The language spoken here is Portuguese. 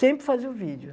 Sempre fazia o vídeo.